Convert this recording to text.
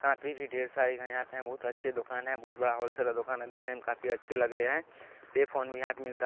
Copy भी ढेर सारी है यहां पे बहुत अच्छी दुकान है बहुत बड़ा होलसेलर दुकान है देखने में काफी अच्छे लग रहे हैं। पे फोन भी यहाँ पे मिलता है।